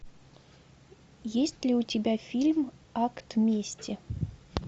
есть ли у тебя фильм акт мести